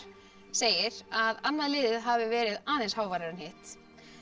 segir að annað liðið hafi verið aðeins háværara en hitt